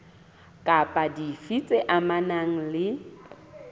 kapa dife tse amanang le